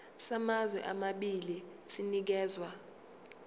samazwe amabili sinikezwa